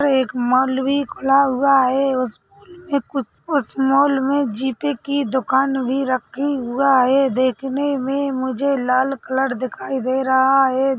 एक माल भी खुला हुआ है। उस में कुछ उस माल में जीपी की दुकान भी रखी हुआ है देखने में मुझे लाल कलर दिखाई दे रहा है।